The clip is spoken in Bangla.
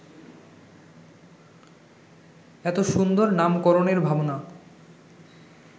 এত সুন্দর নামকরণের ভাবনা